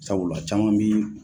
Sabula caman bi